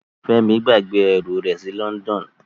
Femi gbàgbé ẹrú rẹ sí London.